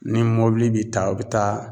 Ni mobili bi ta a bi taa